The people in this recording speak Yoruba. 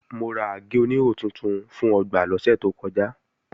Mo ra àgé-oníhò tuntun fún ọgbà lọ́sẹ̀ tó kọjá